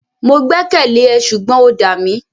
Mo gbẹ́kẹ̀lé ẹ ṣùgbọ́n o dà mí.